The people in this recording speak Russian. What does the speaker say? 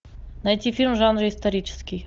найти фильм в жанре исторический